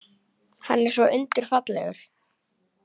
Hann er svo undurfallegur.